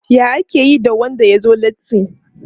Ya ake yi da wanda ya zo latti?